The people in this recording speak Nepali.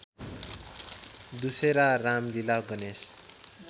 डुसेरा रामलीला गणेश